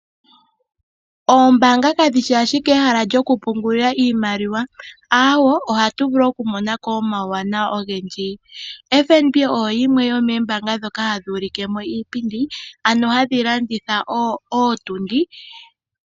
Oombaanga kadhishi ashike omahala gokupungulila iimaliwa, ohatu vulu wo okumonako omauwanawa ogendji. FNB oyo yimwe yoomoombanga ndhoka hadhi ulike iipindi.